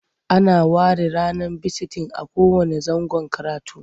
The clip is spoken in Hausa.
Ana ware ranar bisitin a kowanne zangon karatu.